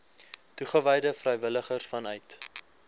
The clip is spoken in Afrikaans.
toegewyde vrywilligers vanuit